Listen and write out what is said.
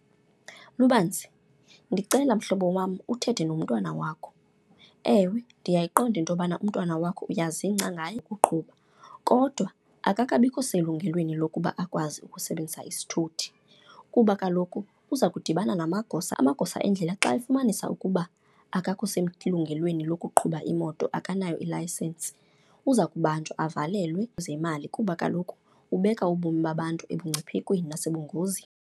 Lubanzi, ndicela mhlobo wam uthethe nomntwana wakho. Ewe, ndiyayiqonda into yobana umntwana wakho uyazingca ngaye uqhuba kodwa akakabikho selungelweni lokuba akwazi ukusebenzisa isithuthi. Kuba kaloku uza kudibana namagosa, amagosa endlela xa efumanisa ukuba akakho selungelweni lokuqhuba imoto, akanayo ilayisensi, uza kubanjwa avalelwe imali kuba kaloku ubeka ubomi babantu ebungciphekweni nasebungonzini.